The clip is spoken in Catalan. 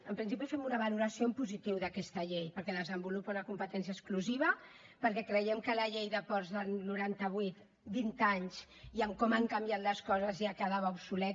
en principi fem una valoració en positiu d’aquesta llei perquè desenvolupa una competència exclusiva perquè creiem que la llei de ports del noranta vuit vint anys i amb com han canviat les coses ja quedava obsoleta